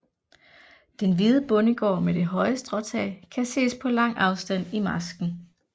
Den hvide bondegård med det høje stråtag kan ses på lang afstand i marsken